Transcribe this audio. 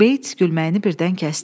Bates gülməyini birdən kəsdi.